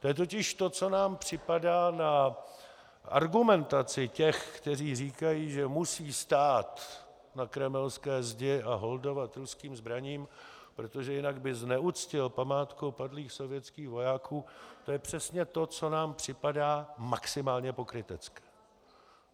To je totiž to, co nám připadá na argumentaci těch, kteří říkají, že musí stát na kremelské zdi a holdovat ruským zbraním, protože jinak by zneuctil památku padlých sovětských vojáků, to je přesně to, co nám připadá maximálně pokrytecké.